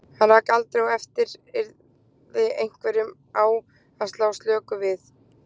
Hann rak aldrei á eftir yrði einhverjum á að slá slöku við.